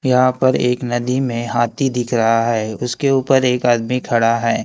यहां पर एक नदी मे हाथी दिख रहा है उसके ऊपर एक आदमी खड़ा है।